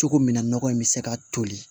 Cogo min na nɔgɔ in bɛ se ka toli